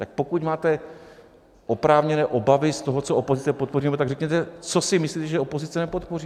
Tak pokud máte oprávněné obavy z toho, co opozice podpoří, tak řekněte, co si myslíte, že opozice nepodpoří.